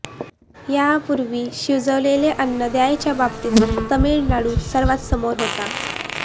यापूर्वी शिजवलेलं अन्न द्यायच्या बाबतीत तामिळनाडू सर्वांत समोर होता